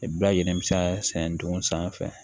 Bayɛlɛlen bɛ se ka sɛnɛ dugu sanfɛ